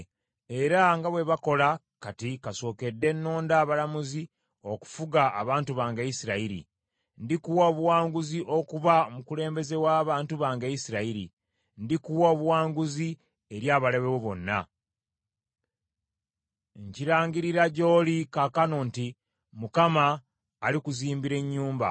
era nga bwe bakola kati kasookedde nnonda abalamuzi okufuga abantu bange Isirayiri. Ndikuwa obuwanguzi okuba omukulembeze w’abantu bange Isirayiri. Ndikuwa obuwanguzi eri abalabe bo bonna. “ ‘Nkirangirira gy’oli kaakano nti Mukama alikuzimbira ennyumba: